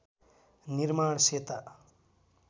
निर्माण सेता